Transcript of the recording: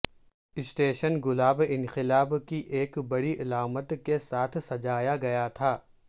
station گلاب انقلاب کی ایک بڑی علامت کے ساتھ سجایا گیا ہے